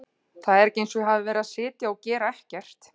Það er ekki eins og ég hafi verið að sitja og gera ekkert.